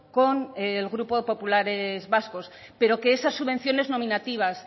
con el grupo populares vascos pero que esas subvenciones nominativas